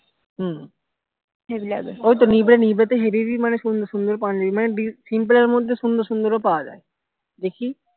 হম ওই তো নিব্বে নিব্বেতেই হেবি হেবি মানে সুন্দর পাঞ্জাবি মানে simple এর মধ্যে সুন্দর সুন্দর পাওয়া যায় দেখি